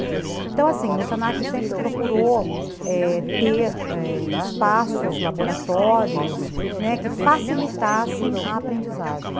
Então, assim, o se na que sempre procurou ter espaços, laboratórios que facilitassem a aprendizagem.